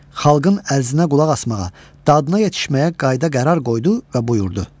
Xalqın ərzinə qulaq asmağa, dadına yetişməyə qayıda qərar qoydu və buyurdu.